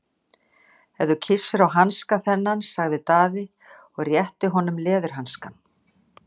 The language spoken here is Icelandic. Ef þú kyssir á hanska þennan, sagði Daði og rétti að honum leðurhanska.